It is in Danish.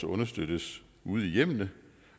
understøttes ude i hjemmene